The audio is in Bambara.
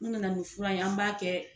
Nuw nana ni fura ye an b'a kɛ